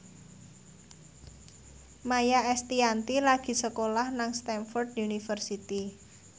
Maia Estianty lagi sekolah nang Stamford University